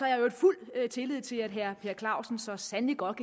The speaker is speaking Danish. i øvrigt fuld tillid til at herre per clausen så sandelig godt